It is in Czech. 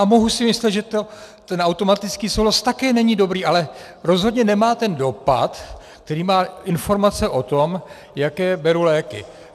A mohu si myslet, že ten automatický souhlas také není dobrý, ale rozhodně nemá ten dopad, který má informace o tom, jaké beru léky.